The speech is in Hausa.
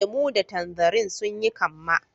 Lemu da tanzarine sun yi kamma.